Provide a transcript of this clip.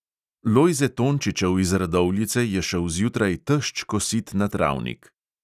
Lojze tončičev iz radovljice je šel zjutraj tešč kosit na travnik.